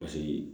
Paseke